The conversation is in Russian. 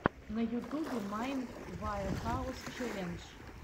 на ютубе майнд ваэхаус челлендж